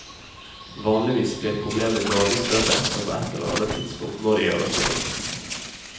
Vanligvis blir problemet gradvis større, så på ett eller annet tidspunkt må det gjøres noe.